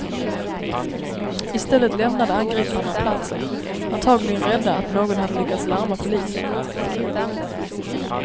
I stället lämnade angriparna platsen, antagligen rädda att någon hade lyckats larma polisen.